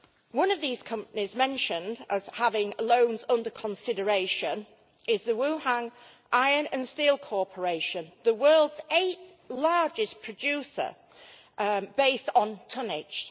One of these companies mentioned as having loans under consideration is the Wuhan Iron and Steel Corporation, the world's eighth largest producer based on tonnage.